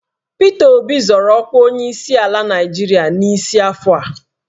Pita Obi zọrọ ọkwa onyeisiala Naịjirịa n'isi afọ a